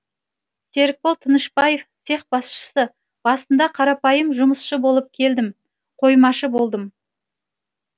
серікбол тынышбаев цех басшысы басында қарапайым жұмысшы болып келдім қоймашы болдым